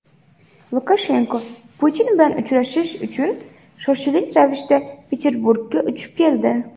Lukashenko Putin bilan uchrashish uchun shoshilinch ravishda Peterburgga uchib keldi.